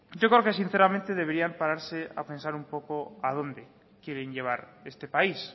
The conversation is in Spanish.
yo creo que sinceramente deberán pararse a pensar un poco a dónde quieren llevar este país